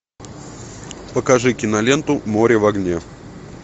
покажи киноленту море в огне